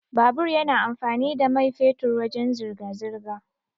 Babur yana amfani da mai fetur wajan zirga-zirga.